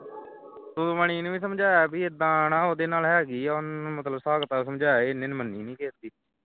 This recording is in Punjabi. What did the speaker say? ਸੁਖਮਣੀ ਨੂੰ ਵੀ ਸਮਝਾਇਆ ਵੀ ਏਦਾਂ ਣਾ ਉਹਦੇ ਨਾਲ ਹੈਗੀ ਹੈ ਉਸ ਨੂੰ ਇੱਕ ਦਿਨ ਮਤਲਬ ਹਿਸਾਬ ਕਿਤਾਬ ਸਮਝਾਇਆ ਸੀ ਉਸ ਨੇ ਮੰਨਣੀ ਨਹੀਂ ਕਿਸੇ ਦੀ